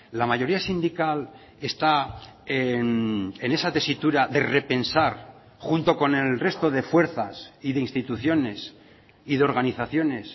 la mayoría sindical está en esa tesitura de repensar junto con el resto de fuerzas y de instituciones y de organizaciones